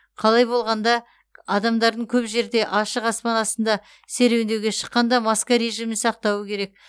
қалай болғанда адамдар көп жерде ашық аспан астында серуендеуге шыққанда маска режимін сақтауы керек